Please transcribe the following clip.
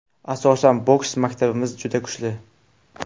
Asosan, boks maktabimiz juda kuchli.